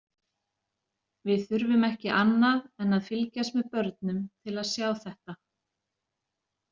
Við þurfum ekki annað en að fylgjast með börnum til að sjá þetta.